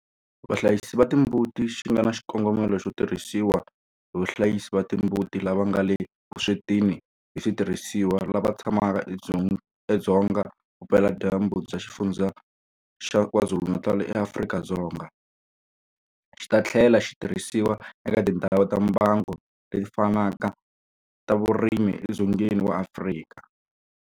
Vahlayisi va timbuti xi nga na xikongomelo xo tirhisiwa hi vahlayisi va timbuti lava nga le vuswetini hi switirhisiwa lava tshamaka edzonga vupeladyambu bya Xifundzha xa KwaZulu-Natal eAfrika-Dzonga, xi ta tlhela xi tirhisiwa eka tindhawu ta mbango leti fanaka ta vurimi edzongeni wa Afrika.